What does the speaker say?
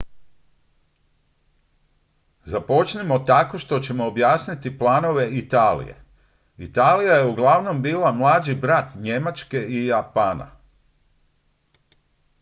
"započnimo tako što ćemo objasniti planove italije. italija je uglavnom bila "mlađi brat" njemačke i japana.